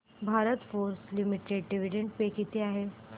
Bharat forge limited dividend pay किती आहे